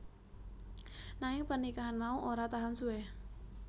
Nanging pernikahan mau ora tahan suwe